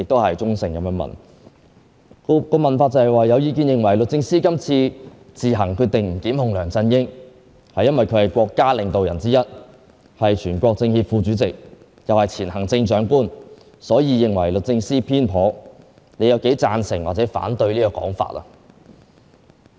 其中一項問題是："有意見認為律政司今次自行決定不檢控梁振英，係因為佢係國家領導之一、係全國政協副主席，又係前行政長官，所以認為律政司偏頗，你有幾贊成或者反對整個講法......